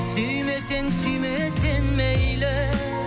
сүймесең сүйме сен мейлі